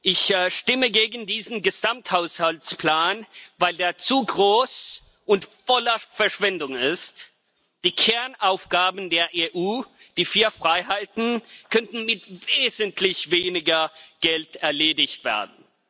Ich stimme gegen diesen Gesamthaushaltsplan, weil er zu groß und von Verschwendung geprägt ist. Die Kernaufgaben der EU, die vier Freiheiten, könnten mit wesentlich weniger Geld bewältigt werden.